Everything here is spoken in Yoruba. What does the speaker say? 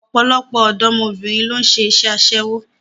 Ọ̀pọ̀lọpọ̀ ọ̀dọ́mọbìnrin ló ń ṣe iṣẹ́ aṣẹ́wó